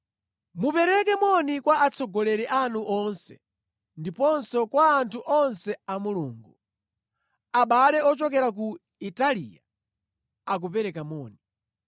Mupereke moni kwa atsogoleri anu onse ndiponso kwa anthu onse a Mulungu. Abale ochokera ku Italiya akupereka moni.